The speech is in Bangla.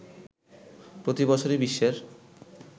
প্রতিবছরই বিশ্বের